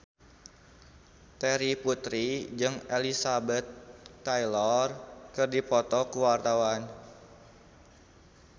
Terry Putri jeung Elizabeth Taylor keur dipoto ku wartawan